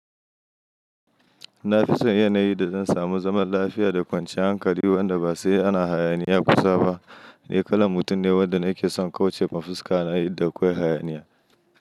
Na fi son yanayin da zan samu zaman lafiya da kwanciyar hankali wanda ba sai ana hayaniya kusa ba. Ni kalan mutum ne wanda nake son kauce ma fuska yayin da akwai hayaniya.